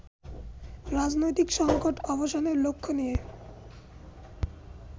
রাজনৈতিক সঙ্কট অবসানের লক্ষ্য নিয়ে